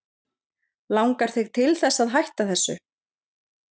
Langar þig til þess að hætta þessu?